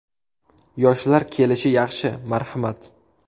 Yoshlar kelishi yaxshi, marhamat.